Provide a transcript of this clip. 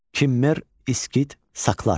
Kimmer, İskit, Saklar.